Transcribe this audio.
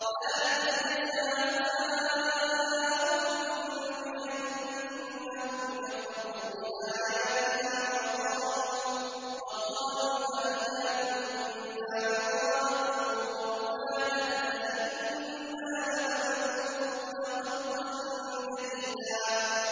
ذَٰلِكَ جَزَاؤُهُم بِأَنَّهُمْ كَفَرُوا بِآيَاتِنَا وَقَالُوا أَإِذَا كُنَّا عِظَامًا وَرُفَاتًا أَإِنَّا لَمَبْعُوثُونَ خَلْقًا جَدِيدًا